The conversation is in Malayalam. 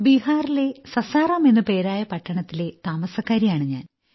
ബീഹാറിലെ സാസാറാം എന്നു പേരായ പട്ടണത്തിലെ താമസക്കാരിയാണു ഞാൻ